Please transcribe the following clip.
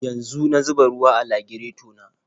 Yanzu na zuba ruwa a lagireto na.